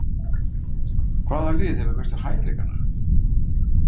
Hvaða lið hefur mestu hæfileikana?